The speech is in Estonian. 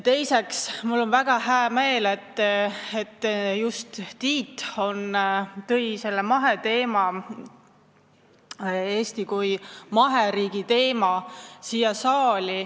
Teiseks on mul väga hää meel, et just Tiit tõi selle Eesti kui maheriigi teema siia saali.